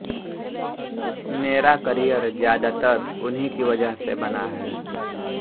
मेरा करियर ज्यादातर उन्हीं की वजह से बना है